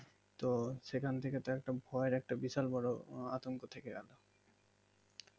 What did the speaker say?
তো সেখান থেকে তো ভয় একটা বিশাল একটা আতঙ্ক থাকে